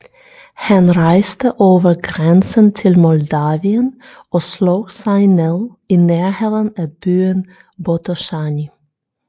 Han rejste over grænsen til Moldavien og slog sig ned i nærheden af byen Botoşani